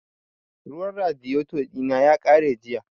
Ruwan radiyeto ɗina ya ƙare jiya